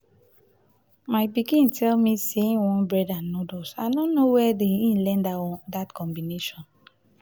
my pikin tell me say he want bread and noodles. i no know where he learn dat combination.